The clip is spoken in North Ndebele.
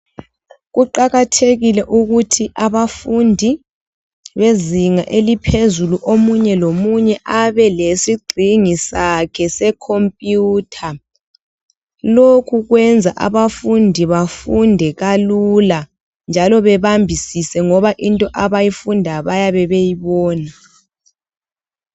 Kuqakathekile ukuthi abafundi bezinga eliphezulu omunye lomunye abe lesigxingi sakhe se khompiyutha. Lokhu kwenza abafundi bafunde kalula njalo bebambisise ngoba into abayifundayo bayabe beyibona.